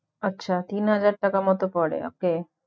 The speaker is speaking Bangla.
আচ্ছা তিন হাজার টাকা মতো পরে okay